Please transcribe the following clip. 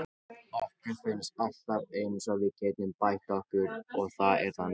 Okkur finnst alltaf eins og við getum bætt okkur og það er þannig.